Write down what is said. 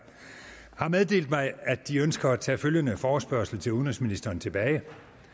at de ønsker at tage følgende forespørgsel til udenrigsministeren tilbage